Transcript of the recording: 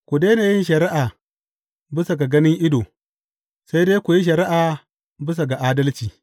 Ku daina yin shari’a bisa ga ganin ido, sai dai ku yi shari’a bisa ga adalci.